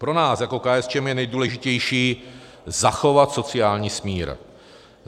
Pro nás jako KSČM je nejdůležitější zachovat sociální smír.